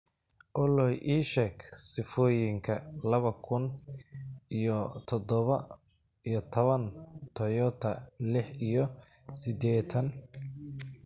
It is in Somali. olly ii sheeg sifooyinka laba kun iyo toddoba iyo toban toyota lix iyo siddeetan